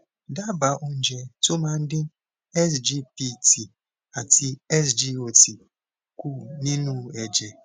daba oúnjẹ tó máa dín sgpt àti sgot kù nínú ẹjẹ